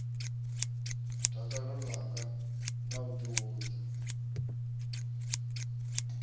dakalo ḽanga na u ḓihudza